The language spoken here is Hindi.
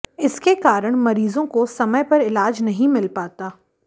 इसके कारण मरीजों को समय पर इलाज नहीं मिल पाता